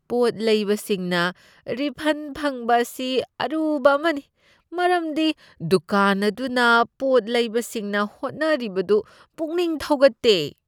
ꯄꯣꯠ ꯂꯩꯕꯁꯤꯡꯅ ꯔꯤꯐꯟ ꯐꯪꯕ ꯑꯁꯤ ꯑꯔꯨꯕ ꯑꯃꯅꯤ ꯃꯔꯝꯗꯤ ꯗꯨꯀꯥꯟ ꯑꯗꯨꯅ ꯄꯣꯠ ꯂꯩꯕꯁꯤꯡꯅ ꯍꯣꯠꯅꯔꯤꯕꯗꯨ ꯄꯨꯛꯅꯤꯡ ꯊꯧꯒꯠꯇꯦ ꯫